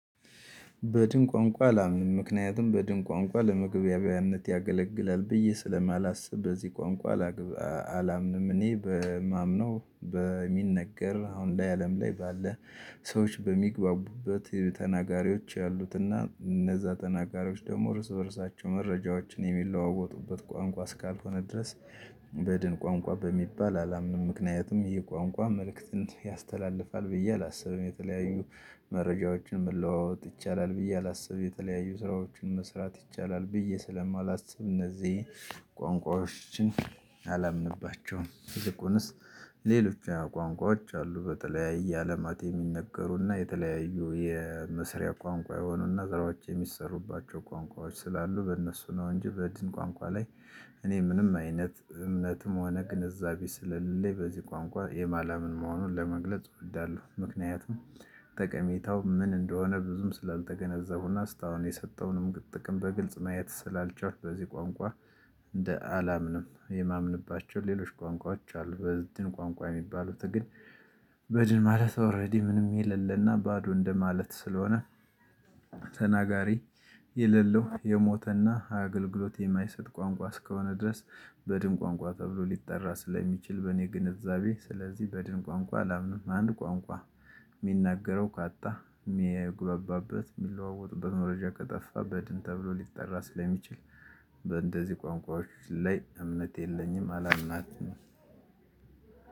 በድን ቋንቋ አላምንም ምክንያቱም በድን ቋንቋ ለመግቢያውያነት ያገለግላል ብዬ ስለማላስብ በዚህ ቋንቋ ላግብ አላምንም እኔ በማምነው በሚነገር አሁን ላይ አለም ላይ ባለ ሰዎች በሚግባቡበት ተናጋሪዎች ያሉትና እነዛ ተናጋሪዎች ደግሞ እርስ በርሳቸው መረጃዎችን የሚለዋወጡበት ቋንቋ ስካልሆነ ድረስ። በድን ቋንቋ በሚባል አላምንም ምክንያትም ይህ ቋንቋ መልእክት ያስተላልፋል ብዬ አላስብም። የተለያዩ መረጃዎችን መለዋወጥ ይቻላል ብዬ አላስብ የተለያዩ ስራዎችን መስራት ይቻላል ብዬ ስለማላስብ እነዚህ ቋንቋዎችን አላምንባቸውም። ይልቁንስ ሌሎች ቋንቋዎች አሉ በተለያየ አለማት የሚነገሩና የተለያዩ የመስሪያ ቋንቋ የሆኑና ስራዎች የሚሰሩባቸው ቋንቋዎች ስላሉ በእነሱ ነው። እንጂ በድን ቋንቋ ላይ እኔ ምንም አይነት እምነትም ሆነ ግንዛቤ ስለሌለ በዚህ ቋንቋ የማላምን መሆኑን ለመግለጽ እወዳለሁ። ምክንያቱም ጠቀሜታው ምን እንደሆነ ብዙም ስላልተገነዘቡና ስታወን የሰጠውንም ጥቅም በግልጽ ማየት ስላልቻልኩ። በዚህ ቋንቋ እንደ አላምንም የማምንባቸው ሌሎች ቋንቋዎች አሉ። በድን ቋንቋ የሚባሉት ግን በድን ማለት ኦሬዲ ምንም የለለና ባዶ እንደማለት ስለሆነ። ተናጋሪ የሌለው የሞተና አገልግሎት የማይሰጥ ቋንቋ እስከሆነ ድረስ። በድን ቋንቋ ተብሎ ሊጠራ ስለሚችል በእኔ ግንዛቤ ስለዚህ በድን ቋንቋ አላምንም። አንድ ቋንቋ የሚናገረው ካጣ የሚግበባበት የሚለዋወጡበት በመረጃ ከጠፋ በድን ተብሎ ሊጠራ ስለሚችል። በእንደዚህ ቋንቋዎች ላይ እምነት የለኝም አላማናትም።